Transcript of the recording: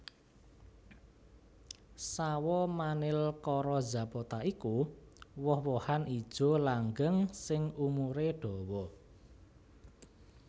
Sawo Manilkara zapota iku woh wohan ijo langgeng sing umuré dawa